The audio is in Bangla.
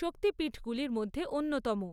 শক্তিপীঠগুলির মধ্যে অন্যতম।